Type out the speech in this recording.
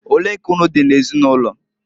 Olee ka unu dị n'ezinụlọ?